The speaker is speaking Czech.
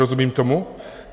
Rozumím tomu?